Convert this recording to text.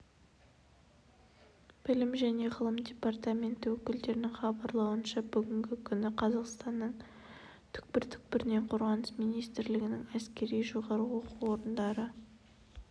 білім және ғылым департаменті өкілдерінің хабарлауынша бүгінгі күні қазақстанның түкпір-түкпірінен қорғаныс министрлігінің әскери жоғары оқу орындары